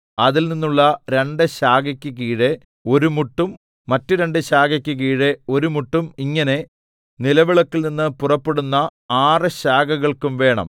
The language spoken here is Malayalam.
അതിൽനിന്നുള്ള രണ്ടു ശാഖയ്ക്ക് കീഴെ ഒരു മുട്ടും മറ്റു രണ്ടു ശാഖയ്ക്ക് കീഴെ ഒരു മുട്ടും മറ്റു രണ്ടു ശാഖയ്ക്ക് കീഴെ ഒരു മുട്ടും ഇങ്ങനെ നിലവിളക്കിൽനിന്ന് പുറപ്പെടുന്ന ആറ് ശാഖകൾക്കും വേണം